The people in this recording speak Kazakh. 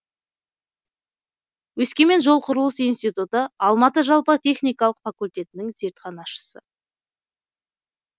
өскемен жол қурылыс институты алматы жалпы техникалық факультетінің зертханашысы